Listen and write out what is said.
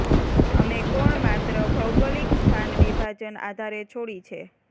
અમે કોણ માત્ર ભૌગોલિક સ્થાન વિભાજન આધારે છોડી છે